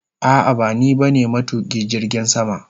A'a bani ba ne matukin jirgin sama.